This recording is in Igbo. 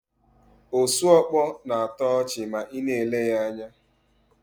Osuọkpọ na-atọ ọchị ma ị na-ele ya anya.